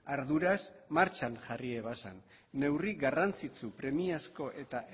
arduraz martxan jarri ebazan neurri garrantzitsu premiazko eta